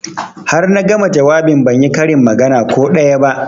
Har na gama jawabin ban yi karin magana ko daya ba